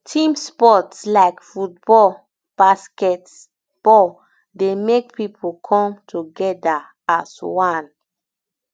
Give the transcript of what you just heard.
team sport like um football basket um ball dey make pipo come together as um one